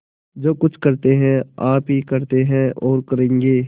जो कुछ करते हैं आप ही करते हैं और करेंगे